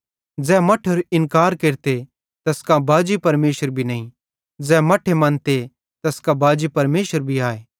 ज़ै मट्ठेरो इन्कार केरते तैस कां बाजी परमेशर भी नईं ज़ै मट्ठे मन्ते तैस कां बाजी परमेशर भी आए